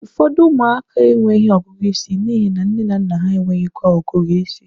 Ụfọdụ ụmụaka enweghị ọgụgụ isi n'ihi na nne na nna ha enweghịkwa ọgụgụ ịsị